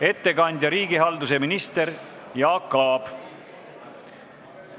Ettekandja on riigihalduse minister Jaak Aab.